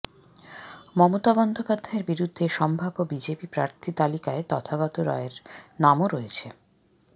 মমতা বন্দ্যোপাধ্যায়ের বিরুদ্ধে সম্ভাব্য বিজেপি প্রার্থী তালিকায় তথাগত রায়ের নামও রয়েছে